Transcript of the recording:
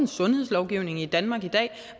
en sundhedslovgivning i danmark i dag